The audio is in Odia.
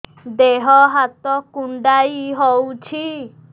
ଦେହ ହାତ କୁଣ୍ଡାଇ ହଉଛି